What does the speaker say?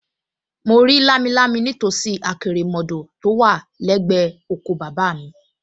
Mo rí lámilámi nítòsí àkérémọdọ̀ tó wà lẹ́gbẹ̀ẹ́ oko bàbá mi